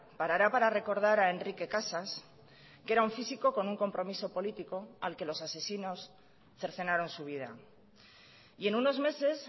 parará para recordar a enrique casas que era un físico con un compromiso político al que los asesinos cercenaron su vida y en unos meses